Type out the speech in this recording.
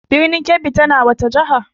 Birnin Kebbi tana wace jiha?